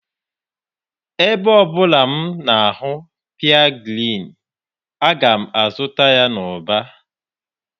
Ebe ọ bụla m na-ahụ pea green, aga m azụta ya n'ụba.